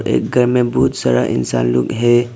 एक घर में बहुत सारा इंसान लोग है।